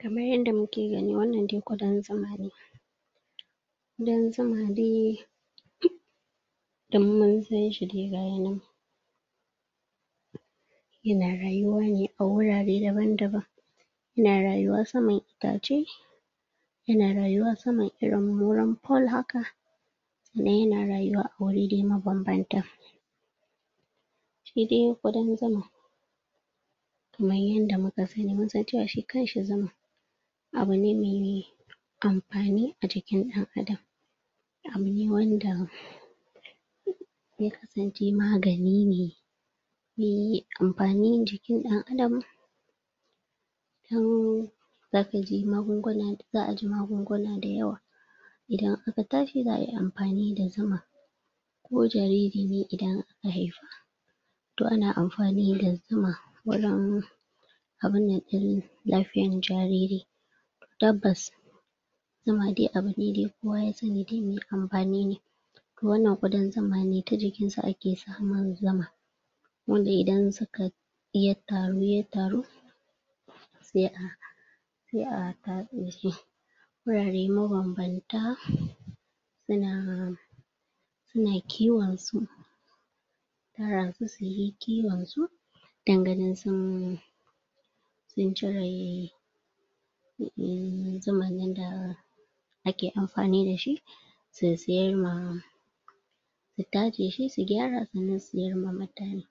Kamar yadda muke gani wannan dai ƙudan zuma ne ƙudan zuma na dum mun san shi dai ga ya nan yana rayuwa ne a wurare daban-daban yana rayuwa saman itace yana rayuwa saman irin wurin pole haka yana rayuwa a wuri mabanbanta shi dai ƙudan zuma kamar yadda muka sani mun san cewa shi kanshi zuma abu mai amfani ajikin ɗan'adam abu ne wanda zan ce magani ne mai amfani ga jikin ɗan'adam dan za ku ji za a ji magunguna da yawa idan aka tashi za ai amfani da zuma ko jariri ne idan aka haife shi to ana amfani da zuma wajen abun nan ɗin lafiyar jariri tabbas, zuma dai abu ne da kowa ya sani dai mai amfani ne to wannan ƙudan zuma ne ta jikin sa aka samun zuma wanda idan sukai ya taru ya taru sai a sai a tatse shi wurare mabanbanta yana suna kiwon su tara su su yi kiwonsu dan ganin sun sun cire un zumar nan da ake amfani da shi su siyar ma su tatse shi su gyara su siyar wa mutane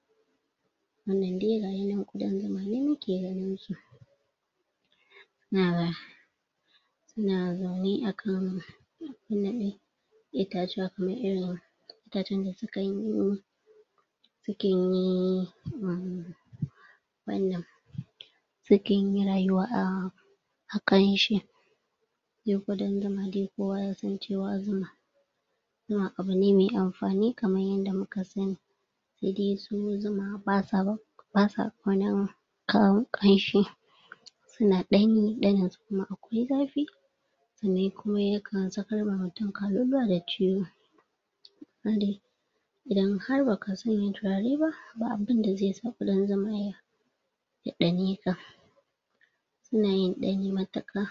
wannan dai ga ya nan ƙudan zuma ne muke ganinshi suna zaune a kan itacen da sukan yi sukan yi um wannan sukan yi rayuwa a a kanshi nan ƙudan zuma dai kowa yasan cewa zuma zuma abu ne mai amfani kamar yanda muka sani sai dai su zuma ba sa ba ba sa ƙaunar kayan ƙanshi yana ɗanye ƙarin su kuma akwai za fi sannan kuma yakan sakar ma mutum kaluluwa da ciwo idan har ba ka sanya turare ba ba abin da zai sa ƙudan zuma ya ya ɗane ka suna yin ɗani matuƙa.